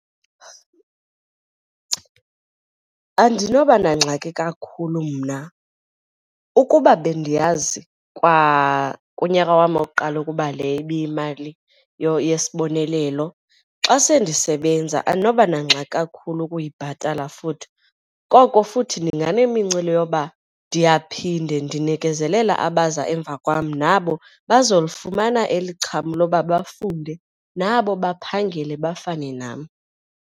Andinoba nangxaki kakhulu mna, ukuba bendiyazi kwakunyaka wam wokuqala ukuba le ibiyimalini yesibonelelo xa sele ndisebenza andinoba nangxaki kakhulu ukuyibhatala futhi. Koko futhi ndinganemincili yoba ndiyaphinde ndinikezelela abaza emva kwam nabo bazolifumana eli xham loba bafunde nabo baphangele bafane nam.